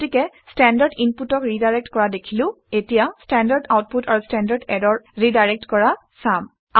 গতিকে ষ্টেণ্ডাৰ্ড ইনপুটক ৰিডাইৰেক্ট কৰা দেখিলো এতিয়া ষ্টেণ্ডাৰ্ড আউটপুট আৰু ষ্টেণ্ডাৰ্ড ইৰৰ ৰিডাইৰেক্ট কৰা চাম